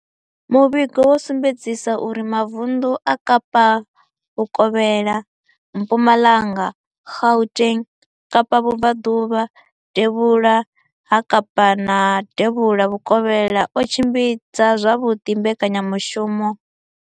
Muvhigo wo sumbedzisa uri mavundu a Kapa Vhukovhela, Mpumalanga, Gauteng, Kapa Vhubvaḓuvha, Devhula ha Kapa na Devhula Vhukovhela o tshimbidza zwavhuḓi mbekanyamushumo.